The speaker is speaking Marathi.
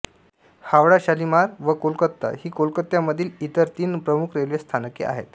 हावडा शालिमार व कोलकाता ही कोलकात्यामधील इतर तीन प्रमुख रेल्वे स्थानके आहेत